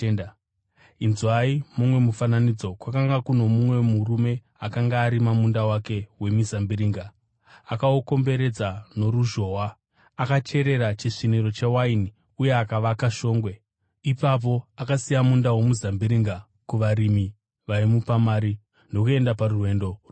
“Inzwai mumwe mufananidzo. Kwakanga kuno mumwe murume akanga arima munda wake wemizambiringa. Akaukomberedza noruzhowa, akacherera chisviniro chewaini uye akavaka shongwe. Ipapo akasiya munda womuzambiringa kuvarimi vaimupa mari ndokuenda parwendo rurefu.